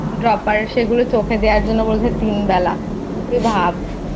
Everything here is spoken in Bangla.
Dropper সেগুলো চোখে দেওয়ার জন্য বলেছে তিন বেলা তুই ভাব